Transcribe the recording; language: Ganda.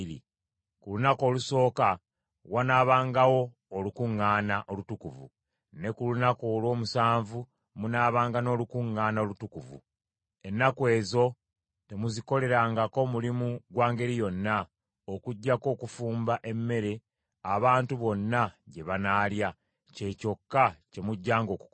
Ku lunaku olusooka wanaabangawo olukuŋŋaana olutukuvu, ne ku lunaku olw’omusanvu munaabanga n’olukuŋŋaana olutukuvu; ennaku ezo temuzikolerangako mulimu gwa ngeri yonna, okuggyako okufumba emmere abantu bonna gye banaalya, kye kyokka kye mujjanga okukola.